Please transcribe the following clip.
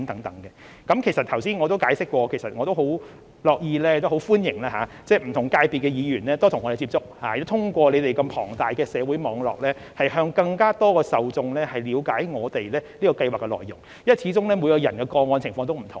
正如我剛才所解釋，我十分樂意也十分歡迎不同界別的議員多與我們接觸，通過他們龐大的社會網絡，讓更多受眾了解我們這項計劃的內容，因為始終每宗個案的情況也不同。